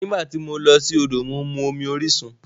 Nígbà tí mo lọ sí odò, mo mu omi orisun.